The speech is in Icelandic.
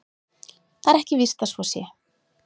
Það er ekki víst að svo sé.